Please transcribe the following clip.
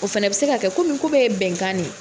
O fana bɛ se ka kɛ ka komi ko bɛɛ ye bɛnkan de ye.